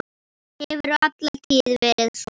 Hefur alla tíð verið svona.